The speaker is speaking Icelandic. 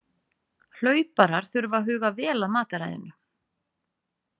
Hlauparar þurfa að huga vel að mataræðinu.